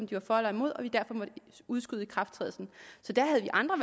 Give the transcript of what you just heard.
de var for eller imod og vi derfor måtte udskyde ikrafttrædelsen der havde vi andre